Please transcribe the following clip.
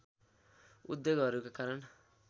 उद्योगहरूका कारण